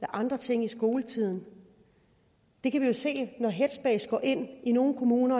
andre ting i skoletiden vi kan jo se når headspace i nogle kommuner